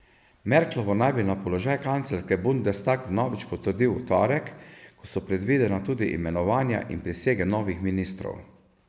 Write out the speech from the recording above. Merklovo naj bi na položaj kanclerke bundestag vnovič potrdil v torek, ko so predvidena tudi imenovanja in prisege novih ministrov.